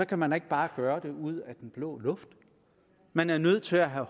kan man ikke bare gøre det ud af den blå luft man er nødt til at have